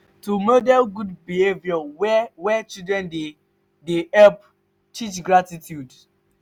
to model good behavour where where children dey dey help teach gratitude.